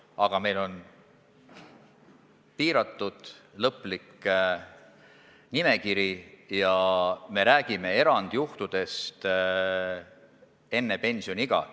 Aga meil on piiratud, lõplik nimekiri ja me räägime erandjuhtudest enne pensioniiga.